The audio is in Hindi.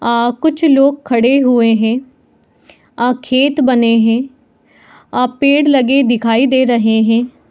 आ कुछ लोग खड़े हुए है आ खेत बने है आ पेड़ लगे दिखाई दे रहे है ।